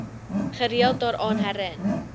gereeld daaraan herin